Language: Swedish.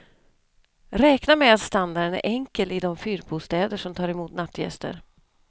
Räkna med att standarden är enkel i de fyrbostäder som tar emot nattgäster.